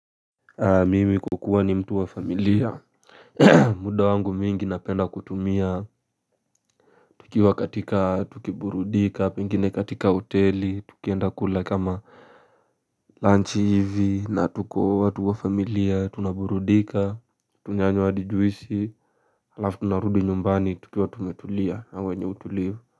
Mimi kwa kuwa ni mtu wa familia muda wangu mwingi napenda kutumia. Tukiwa katika tukiburudika pengine katika hoteli tukienda kula kama lunch hivi na tuko watu wa familia tunaburudika tunanywa hadi juisi alafu tunarudi nyumbani tukiwa tumetulia na wenye utulivu.